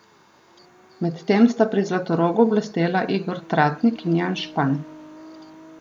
Medtem sta pri Zlatorogu blestela Igor Tratnik in Jan Špan.